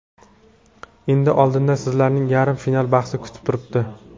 Endi oldinda sizlarni yarim final bahsi kutib turibdi.